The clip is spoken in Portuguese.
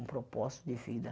um propósito de vida.